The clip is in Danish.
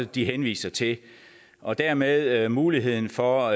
de henviser til og dermed muligheden for